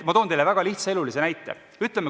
Ma toon teile väga lihtsa elulise näite.